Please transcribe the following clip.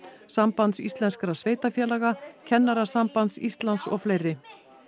Sambands Íslenskra sveitarfélaga Kennarasambands Íslands og fleiri